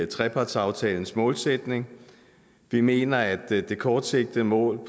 trepartsaftalens målsætning vi mener at det kortsigtede mål